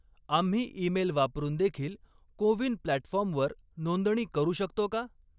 आम्ही ईमेल वापरून देखील को विन प्लॅटफॉर्मवर नोंदणी करू शकतो का?